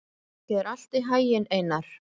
Gangi þér allt í haginn, Einar.